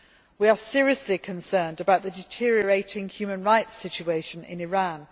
We are seriously concerned about the deteriorating human rights situation in Iran.